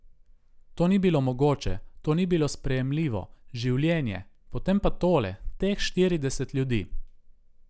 To ni bilo mogoče, to ni bilo sprejemljivo, življenje, potem pa tole, teh štirideset ljudi.